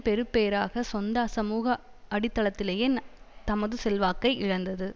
பெறுபேறாக சொந்த சமூக அடித்தளத்திலேயே தமது செல்வாக்கை இழந்தது